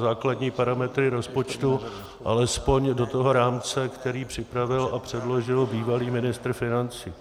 základní parametry rozpočtu alespoň do toho rámce, který připravil a předložil bývalý ministr financí.